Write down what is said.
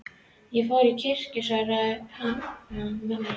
Ég fór í kirkju, svaraði Hanna-Mamma.